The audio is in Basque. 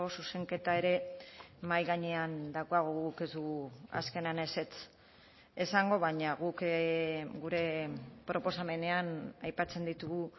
zuzenketa ere mahai gainean daukagu guk ez dugu azkenean ezetz esango baina guk gure proposamenean aipatzen ditugu